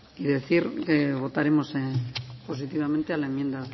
y decir que votaremos positivamente a la enmienda